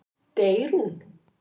Deyr hún?